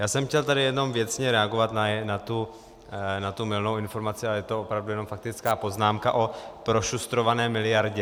Já jsem chtěl tady jenom věcně reagovat na tu mylnou informaci, a je to opravdu jenom faktická poznámka, o prošustrované miliardě.